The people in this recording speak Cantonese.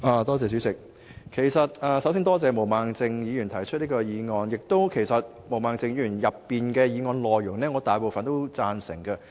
代理主席，首先多謝毛孟靜議員提出這項議案，我亦贊成毛孟靜議員所提議案的大部分內容。